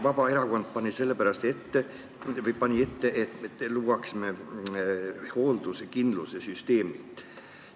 Vabaerakond pani sellepärast ette, et looksime hoolduskindlustuse süsteemi.